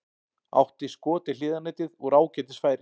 Átti skot í hliðarnetið úr ágætis færi.